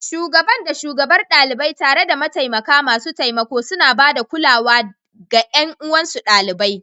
Shugaban da Shugabar ɗalibai, tare da mataimaka masu taimako, suna ba da kulawa da ga ƴan uwansu ɗalibai.